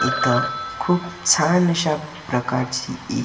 इथं खूप छान अशा प्रकारची--